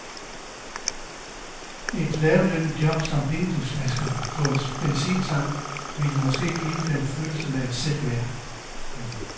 Et lavtlønnet job som vinduesvasker på en benzintank ville måske give dem følelsen af selvværd.